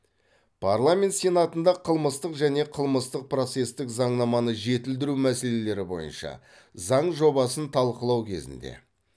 парламент сенатында қылмыстық және қылмыстық процестік заңнаманы жетілдіру мәселелері бойынша заң жобасын талқылау кезінде